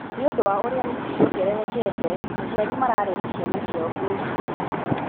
nĩ ũndũ wa ũrĩa hĩti ciongererekete aciari mararehe ciana ciao nginya cukuru